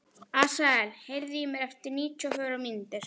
Asael, heyrðu í mér eftir níutíu og fjórar mínútur.